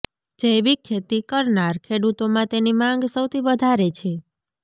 જૈવિક ખેતી કરનાર ખેડૂતોમાં તેની માંગ સૌથી વધારે છે